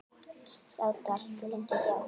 Sátu allt of lengi hjá.